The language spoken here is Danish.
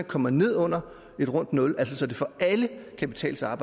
kommer ned under et rundt nul så det for alle kan betale sig